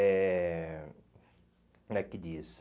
É... Como é que diz?